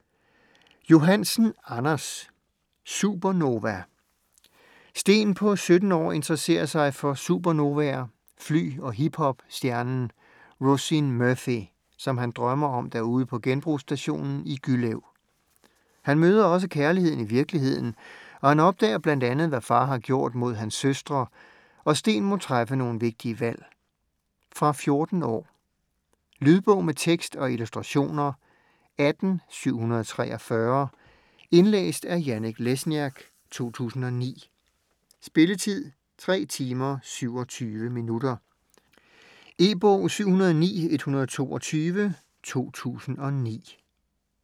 Johansen, Anders: Supernova Sten på 17 år interesserer sig for supernovaer, fly og hip-hop stjernen Roisin Murphy, som han drømmer om derude på genbrugsstationen i Gyllev. Han møder også kærligheden i virkeligheden, og han opdager bl.a. hvad far har gjort mod hans søstre, og Sten må træffe nogle vigtige valg. Fra 14 år. Lydbog med tekst og illustrationer 18743 Indlæst af Janek Lesniak, 2009. Spilletid: 3 timer, 27 minutter. E-bog 709122 2009.